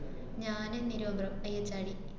ഞാന് നെരുവമ്പ്രം IHRD